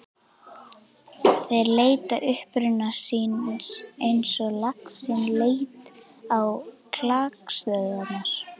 Þeir leita uppruna síns eins og laxinn leitar á klakstöðvarnar.